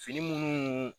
Fini minnu